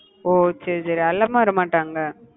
ஓஹ் சரி சரி அல்லாம வரமாட்டாங்க